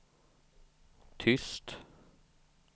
tyst